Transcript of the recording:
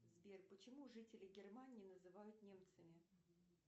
сбер почему жителей германии называют немцами